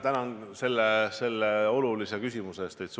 Tänan teid selle olulise küsimuse eest!